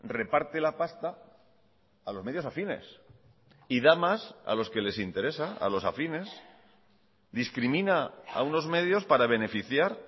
reparte la pasta a los medios afines y da más a los que les interesa a los afines discrimina a unos medios para beneficiar